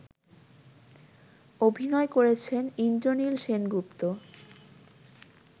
অভিনয় করেছেন ইন্দ্রনীল সেনগুপ্ত